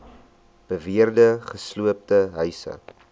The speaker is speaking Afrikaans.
beweerde gesloopte huise